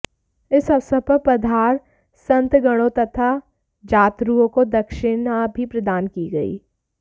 इस अवसर पर पधार संतगणों तथा जातरुओं को दक्षिणा भी प्रदान की गई